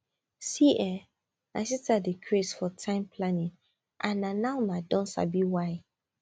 see[um]my sister dey craze for time planning and na now i don sabi why